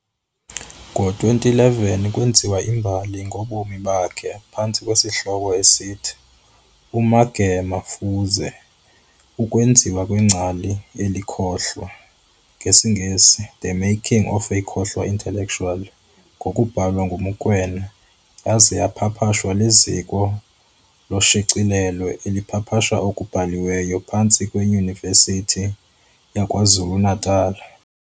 Ngo-2011, kweenziwa i"mbali" ngobomi bakhe, phantsi kwesihloko esithi- "uMagema Fuze- ukwenziwa kwengcali elikhohlwa, NgesiNgesi- The making of a khohlwa Intellectual, ngokubhalwa nguMokoena, yaza yapapashwa liziko loshicilelo elipapasha okubhaliweyo phantsi kweYunivesithi yakwaZulu Natala.